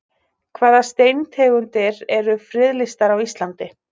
Hvaða steintegundir eru friðlýstar á Íslandi?